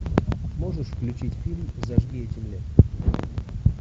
можешь включить фильм зажги этим летом